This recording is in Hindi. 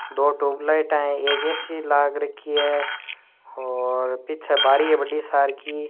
दो ट्यूबलाइटा है एक ए सी लाग रखी है और पीछे बारी है बड़ी सार की।